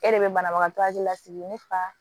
E de bɛ banabagatɔ hakili lasigi ne fa